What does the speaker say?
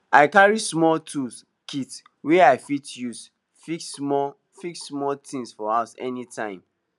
i carry small tool kit wey i fit use fix small fix small things for house anytime